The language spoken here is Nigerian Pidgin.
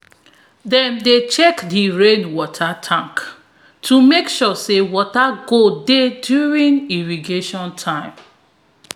dem dey check di rainwater tank to make sure say water go dey during irrigation time